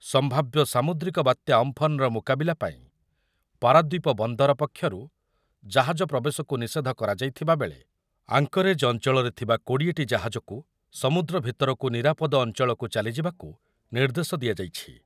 ସମ୍ଭାବ୍ୟ ସାମୁଦ୍ରିକ ବାତ୍ୟା ଅମ୍ଫନ୍‌ର ମୁକାବିଲା ପାଇଁ ପାରାଦ୍ୱୀପ ବନ୍ଦର ପକ୍ଷରୁ ଜାହାଜ ପ୍ରବେଶକୁ ନିଷେଧ କରାଯାଇଥିବାବେଳେ ଆଙ୍କରେଜ୍ ଅଞ୍ଚଳରେ ଥିବା କୋଡିଏ ଟି ଜାହାଜକୁ ସମୁଦ୍ର ଭିତରକୁ ନିରାପଦ ଅଞ୍ଚଳକୁ ଚାଲିଯିବାକୁ ନିର୍ଦ୍ଦେଶ ଦିଆଯାଇଛି ।